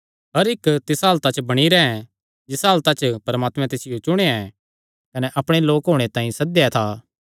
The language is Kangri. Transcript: हर इक्क तिसा हालता च बणी रैंह् जिसा हालता च परमात्मैं तिसियो चुणेया कने अपणे लोक होणे तांई सद्देया था